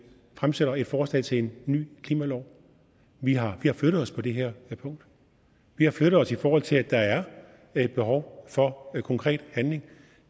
fremsætter et forslag til en ny klimalov vi har flyttet os på det her punkt vi har flyttet os i forhold til at der er et behov for konkret handling